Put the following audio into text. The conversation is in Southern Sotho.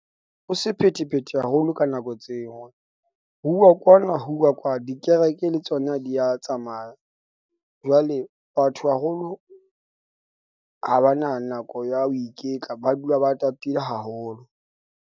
Ho sephethephethe haholo ka nako tseo. Ho uwa kwana, ho uwa kwana. Dikereke le tsona di ya tsamaya. Jwale batho haholo ha ba na nako ya ho iketla, ba dula ba tatile haholo.